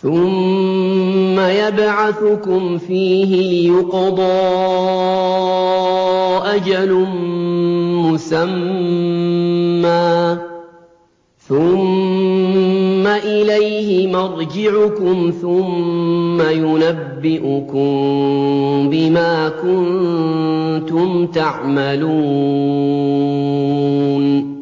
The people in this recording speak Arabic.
ثُمَّ يَبْعَثُكُمْ فِيهِ لِيُقْضَىٰ أَجَلٌ مُّسَمًّى ۖ ثُمَّ إِلَيْهِ مَرْجِعُكُمْ ثُمَّ يُنَبِّئُكُم بِمَا كُنتُمْ تَعْمَلُونَ